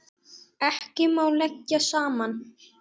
Ekki má leggja saman.